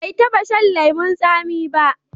Bai taba shan lemon tsami ba.